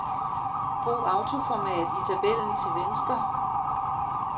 Brug autoformat i tabellen til venstre.